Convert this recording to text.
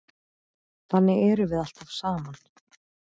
Þannig erum við alltaf saman.